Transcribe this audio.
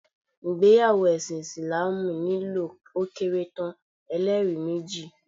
ìgbéyàwó ẹṣin Isilaamu nílò ó kéré tán, ẹ́lẹ́rìí méjì